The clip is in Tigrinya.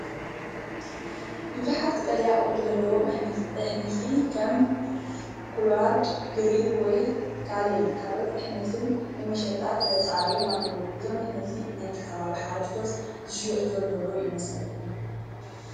ብዙሓት ቀጠልያ ቆጽሊ ዘለዎም ኣሕምልቲ ከም ኮላርድ ግሪን ወይ ካሌን ካልኦት ኣሕምልትን ንመሸጣ ተሰሪዖም ኣለዉ። እዞም ኣሕምልቲ ብናይቲ ከባቢ ሓረስቶት ዝሽየጡ ዘለዉ ዶ ይመስለኩም?